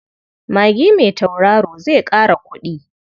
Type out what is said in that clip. Magi mai tautaro zai ƙara kuɗi.